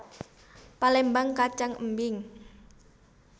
Palémbang kacang embing